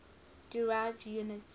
derived units